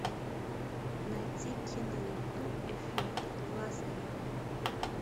найти киноленту эффект лазаря